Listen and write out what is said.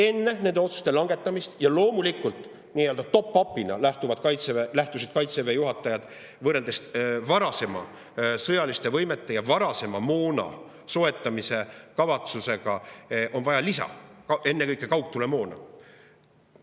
Enne nende otsuste langetamist, ja loomulikult nii-öelda top-up'ina lähtusid Kaitseväe juhatajad, võrreldes varasema sõjaliste võimete ja moona soetamise kavatsusega, sellest, et on vaja lisa, ennekõike kaugtulemoona.